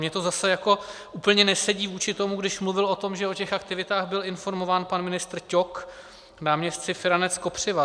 Mně to zase jako úplně nesedí vůči tomu, když mluvil o tom, že o těch aktivitách byl informován pan ministr Ťok, náměstci Feranec, Kopřiva.